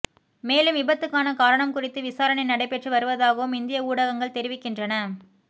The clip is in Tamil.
மேலும் விபத்துக்கான காரணம் குறித்து விசாரணை நடைப்பெற்று வருவதாகவும் இந்திய ஊடகங்கள் தெரிவிக்கின்றன